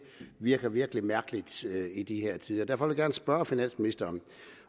virker virkelig mærkeligt i de her tider derfor vil jeg gerne spørge finansministeren